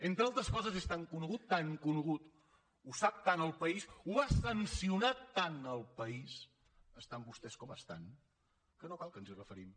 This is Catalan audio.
entre altres coses és tan conegut tan conegut ho sap tant el país ho ha sancionat tant el país estan vostès com estan que no cal que ens hi referim